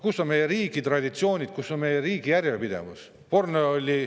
Kus on meie riigi traditsioonid, kus on meie riigi järjepidevus?!